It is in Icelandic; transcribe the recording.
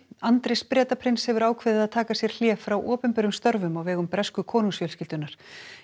Andrés Bretaprins hefur ákveðið að taka sér hlé frá opinberum störfum á vegum bresku konungsfjölskyldunnar